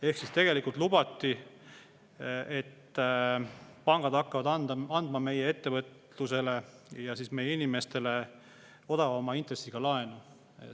Ehk siis tegelikult lubati, et pangad hakkavad andma meie ettevõtlusele ja meie inimestele odavama intressiga laenu.